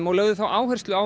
og lögðu áherslu á